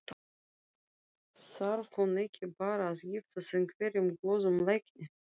Þarf hún ekki bara að giftast einhverjum góðum lækni?